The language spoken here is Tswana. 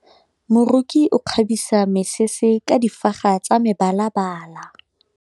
Moroki o kgabisa mesese ka difaga tsa mebalabala.